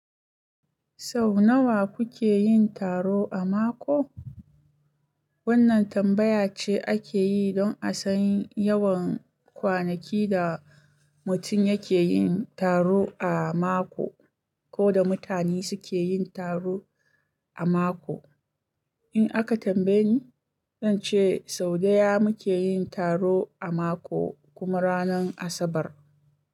Sau nawa kuke yin taro a mako? Wannan tambaya ce ake yi don a san yawan kwanaki da mutum yake yin taro a mako ko da mutane suke yin taro a mako. In aka tambaye ni, zan ce sau ɗaya muke yin taro a mako, kuma ranar Asabar.